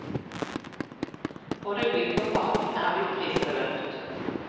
Både bygget og parken er blitt prisbelønnet.